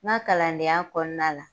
N ka kalandenya kɔnɔna la